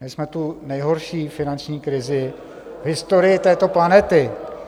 Měli jsme tu nejhorší finanční krizi v historii této planety.